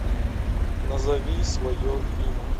назови свое имя